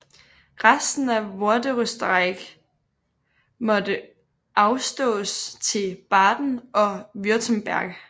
Resten af Vorderösterreich måtte afstås til Baden og Württemberg